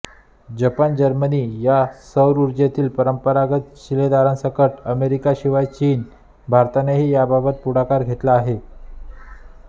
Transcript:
Japan Germany या सौरऊर्जेतील परंपरागत शिलेदारांसकट अमेरिका शिवाय चीन आणि भारतानेही याबाबत पुढाकार घेतला आहे